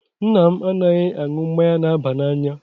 Nna m anaghị aṅụ mmanya na-aba n'anya.